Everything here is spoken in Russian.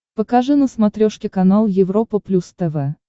покажи на смотрешке канал европа плюс тв